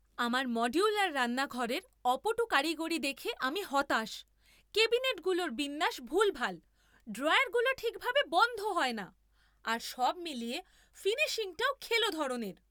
আমার মডিউলার রান্নাঘরের অপটু কারিগরি দেখে আমি হতাশ। ক্যাবিনেটগুলোর বিন্যাস ভুলভাল, ড্রয়ারগুলো ঠিকভাবে বন্ধ হয় না, আর সব মিলিয়ে ফিনিশিংটাও খেলো ধরনের।